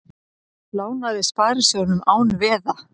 Lánaði sparisjóðum án veða